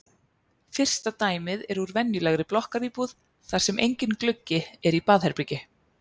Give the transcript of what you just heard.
Fyrsta dæmið er úr venjulegri blokkaríbúð þar sem enginn gluggi er í baðherbergi.